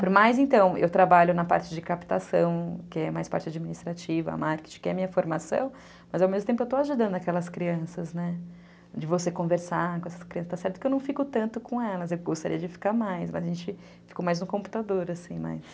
Por mais, então, eu trabalho na parte de captação, que é mais parte administrativa, a marketing, que é a minha formação, mas ao mesmo tempo eu estou ajudando aquelas crianças, né, de você conversar com essas crianças, porque eu não fico tanto com elas, eu gostaria de ficar mais, mas a gente fica mais no computador, assim, mas...